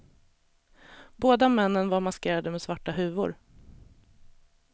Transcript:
Båda männen var maskerade med svarta huvor.